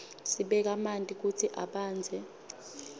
sibeka manti kutsi abandze